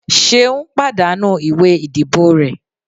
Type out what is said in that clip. seun pàdánù ìwé ìdíbò re